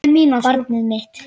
Barnið mitt.